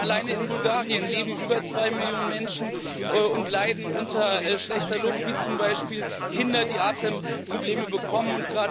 Denn alleine in Bulgarien leben über zwei Millionen Menschen, die unter schlechter Luft leiden, wie zum Beispiel Kinder, die Atemprobleme bekommen.